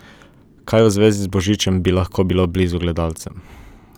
Kaj v zvezi z božičem bi lahko bilo blizu gledalcem?